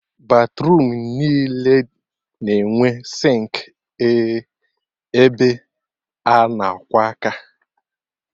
Batruum niile na-enwe sịnkị ebe a na-akwọ aka